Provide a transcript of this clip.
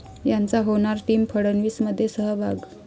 ...'यांचा' होणार टीम फडणवीसमध्ये सहभाग